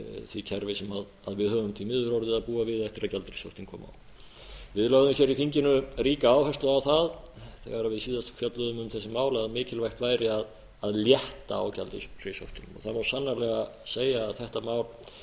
því kerfi sem við höfum því miður orðið að búa við eftir að gjaldeyrishöftin komu við lögðum hér í þinginu ríka áherslu á það þegar við síðast fjölluðum um þessi mál að mikilvægt væri að létta á gjaldeyrishöftunum það má sannarlega segja að þetta